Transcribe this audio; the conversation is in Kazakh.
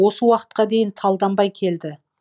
осы уақытка дейін талданбай келді